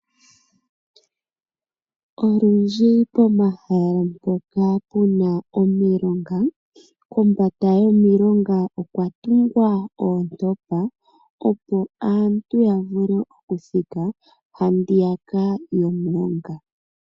Olundji pomahala mpoka pu na omilonga kombanda yomilonga okwa tungwa oontopa, opo aantu opo aantu ya vule okuthika handiyaka yomulonga.